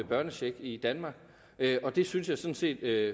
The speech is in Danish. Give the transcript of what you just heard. børnecheck i danmark det synes jeg sådan set er